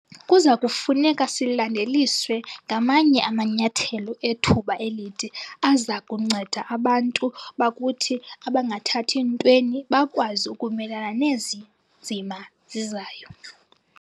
Kuza kufuneka silandeliswe ngamanye amanyathelo ethuba elide aza kunceda abantu bakuthi abangathathi ntweni bakwazi ukumelana nezi nzima zizayo.